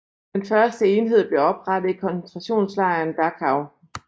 Den første enhed blev oprettet i koncentrationslejren Dachau